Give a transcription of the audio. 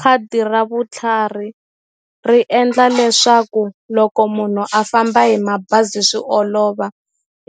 Khadi ra vutlhari ri endla leswaku loko munhu a famba hi mabazi swi olova